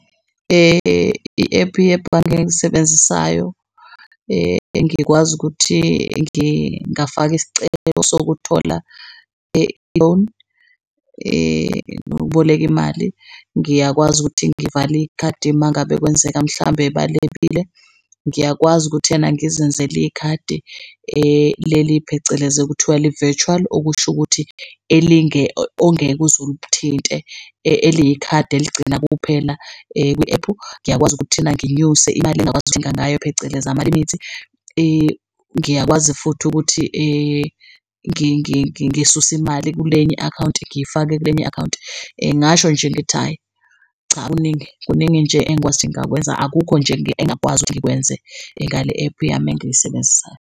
I-app yebhange engisebenzisayo ngikwazi ukuthi ngingafaka isicelo sokuthola i-loan nokuboleka imali. Ngiyakwazi ukuthi ngivale ikhadi uma ngabe kwenzeka mhlambe balebile. Ngiyakwazi ukuthena ngizenzele ikhadi leli phecelezi okuthowa li-virtual okusho ukuthi ongeke uzulithinte eliyikhadi eligcina kuphela kwi-ephu. Ngiyakwazi ukuthi ena nginyuse imali engingakwazi ukuthenga ngayo phecelezi amalimithi. Ngiyakwazi futhi ukuthi ngisuse imali kulenye i-akhawunti, ngiyifake kwenye i-akhawunti. Ngingasho nje ngithi hhayi cha kuningi, kuningi nje engikwazi ukuthi ngingakwenza akukho nje engingakwazi ukuthi ngikwenze ngale-app yami engiyisebenzisayo.